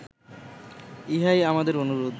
ইহাই আমাদের অনুরোধ